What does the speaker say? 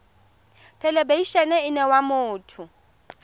thelebi ene e neela motho